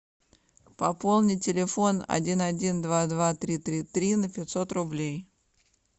пополни телефон один один два два три три три на пятьсот рублей